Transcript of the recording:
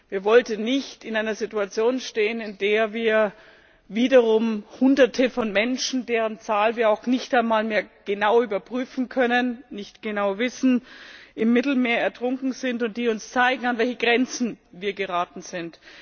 Wir wollten nicht in einer Situation stehen, in der wiederum Hunderte von Menschen deren Zahl wir nicht einmal mehr genau überprüfen können, nicht genau wissen im Mittelmeer ertrunken sind und die uns zeigen, an welche Grenzen wir geraten sind.